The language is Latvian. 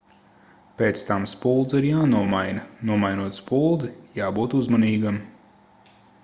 pēc tam spuldze ir jānomaina nomainot spuldzi jābūt uzmanīgam